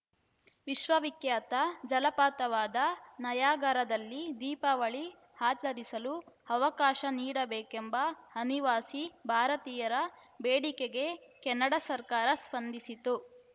ವಿಶ್ವವಿಖ್ಯಾತ ಜಲಪಾತವಾದ ನಯಾಗರದಲ್ಲಿ ದೀಪಾವಳಿ ಆಚರಿಸಲು ಅವಕಾಶ ನೀಡಬೇಕೆಂಬ ಅನಿವಾಸಿ ಭಾರತೀಯರ ಬೇಡಿಕೆಗೆ ಕೆನಡಾ ಸರ್ಕಾರ ಸ್ಪಂದಿಸಿದ್ದು